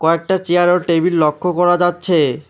কয়েকটা চিয়ার ও টেবিল লক্ষ করা যাচ্ছে।